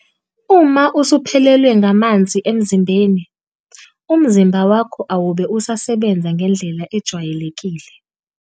Uma usuphelelwe ngamanzi emzimbeni, umzimba wakho awube usasebenza ngendlela ejwayelekile.